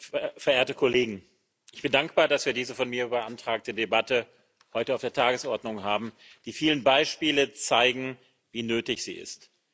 Herr Präsident, liebe Kollegen! Ich bin dankbar, dass wir diese von mir beantragte Debatte heute auf der Tagesordnung haben. Die vielen Beispiele zeigen, wie nötig sie ist.